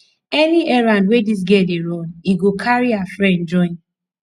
any errand wey dis girl dey run he go carry her friend join